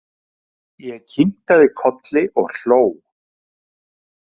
Ég kinkaði kolli og hló.